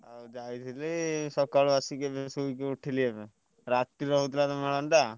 ଆଉ ଯାଇଥିଲି ସକାଳୁ ଆସିକି ଶୋଇକି ଉଠିଲି ଏବେ। ରା ତିରେ ହଉଥିଲା ତ ମେଳଣଟା।